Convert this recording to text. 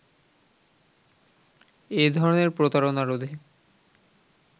এধরনের প্রতারনা রোধে